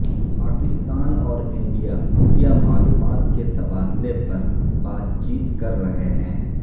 پاکستان اور انڈیا خفیہ معلومات کے تبادلے پر بات چیت کر رہے ہیں